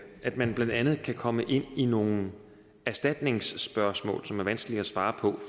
at man blandt andet kan komme ind i nogle erstatningsspørgsmål som er vanskelige at svare på